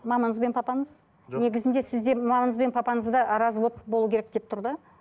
мамаңыз бен папаңыз жоқ негізінде сізде мамаңыз бен папаңызда развод болу керек деп тұр да